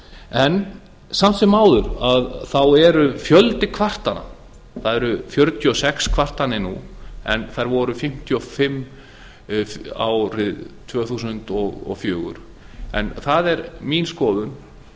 en samt sem áður er fjöldi kvartana það eru fjörutíu og sex kvartanir nú en þær voru fimmtíu og fimm árið tvö þúsund og fjögur en það er mín skoðun